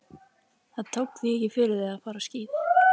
Það tók því ekki fyrir þau að fara á skíði.